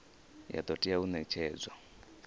ya do tea u netshedzwa